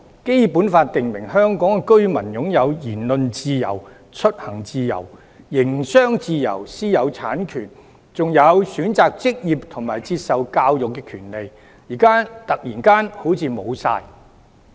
《基本法》訂明香港居民擁有言論自由、出行自由、營商自由、私有產權，還有選擇職業及接受教育的權利，現在突然好像全都消失。